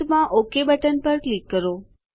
અંતમાં ok button પર click કરો